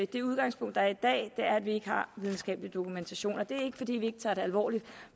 det udgangspunkt der er i dag er at vi ikke har videnskabelig dokumentation og det er ikke fordi vi ikke tager det alvorligt